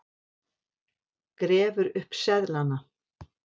Grefur upp seðlana.